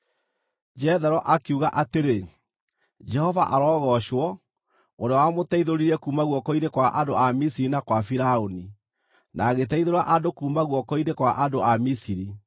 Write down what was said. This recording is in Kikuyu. Jethero akiuga atĩrĩ, “Jehova arogoocwo, ũrĩa wamũteithũrire kuuma guoko-inĩ kwa andũ a Misiri na gwa Firaũni, na agĩteithũra andũ kuuma guoko-inĩ kwa andũ a Misiri.